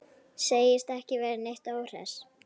Segist ekki vera neitt óhress.